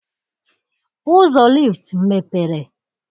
Ụzọ lift mepere.